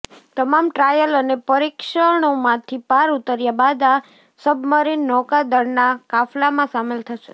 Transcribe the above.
તમામ ટ્રાયલ અને પરીક્ષણોમાંથી પાર ઉતર્યા બાદ આ સબમરીન નૌકાદળના કાફલામાં સામેલ થશે